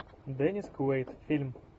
деннис куэйд фильм